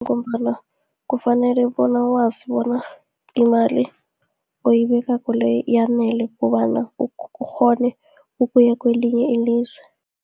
Ngombana kufanele bona wazi bona, imali oyibekako le, yanele kobana ukghone ukuya kelinye ilizwe.